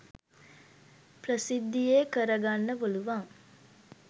ප්‍රසිද්ධියේ කර ගන්න පුළුවන්.